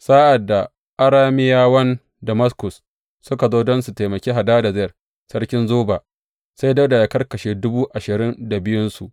Sa’ad da Arameyawan Damaskus suka zo don su taimaki Hadadezer sarkin Zoba, sai Dawuda ya karkashe dubu ashirin da biyunsu.